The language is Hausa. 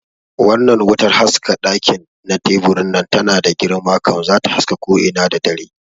Wannnan wutar haska ɗaki na teburin nan tana da girma kam, zata haska ko ina da dare